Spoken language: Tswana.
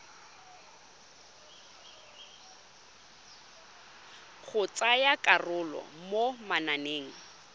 go tsaya karolo mo mananeng